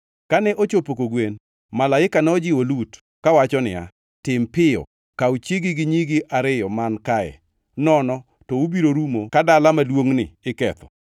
Kane ochopo kogwen, malaika nojiwo Lut, kawacho niya, “Tim piyo kaw chiegi gi nyigi ariyo man kae, nono to ubiro rumo ka dala maduongʼni iketho.”